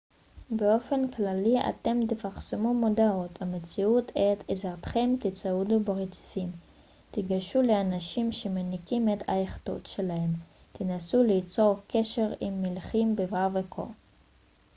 באופן כללי אתם תפרסמו מודעות המציעות את עזרתכם תצעדו ברציפים תיגשו לאנשים שמנקים את היאכטות שלהם תנסו ליצור קשר עם מלחים בבר וכו'